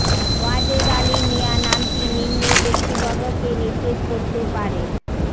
ওয়াজেদ আলী মিয়া নামটি নিম্নের ব্যক্তিবর্গকে নির্দেশ করতে পারেঃ